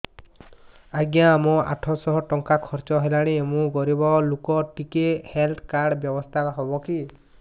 ଆଜ୍ଞା ମୋ ଆଠ ସହ ଟଙ୍କା ଖର୍ଚ୍ଚ ହେଲାଣି ମୁଁ ଗରିବ ଲୁକ ଟିକେ ହେଲ୍ଥ କାର୍ଡ ବ୍ୟବସ୍ଥା ହବ କି